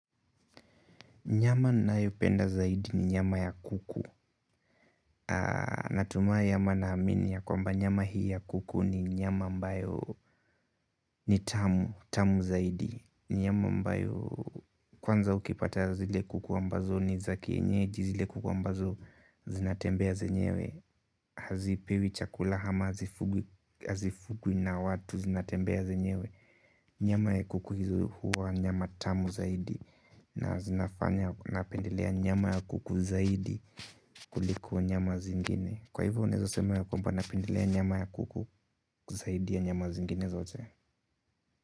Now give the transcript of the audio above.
Nyama ninayopenda zaidi ni nyama ya kuku. Natumai ama naamini ya kwamba nyama hii ya kuku ni nyama ambayo ni tamu zaidi nyama ambayo kwanza ukipata zile kuku ambazo ni za kienyeji zile kuku ambazo zinatembea zenyewe. Hazipewi chakula ama hazifugwi na watu zinatembea zenyewe nyama ya kuku hizo huwa nyama tamu zaidi na zinafanya napendelea nyama ya kuku zaidi kuliko nyama zingine kwa hivyo unaeza sema ya kwamba napendelea nyama ya kuku zaidi ya nyama zingine zote.